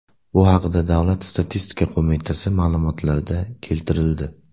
Bu haqda Davlat statistika qo‘mitasi ma’lumotlarida keltirildi .